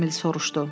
Emil soruşdu.